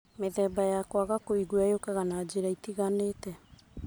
Mĩthemba ya kwaga kũigua yũkaga na njĩra itiganĩte